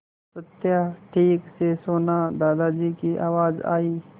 सत्या ठीक से सोना दादाजी की आवाज़ आई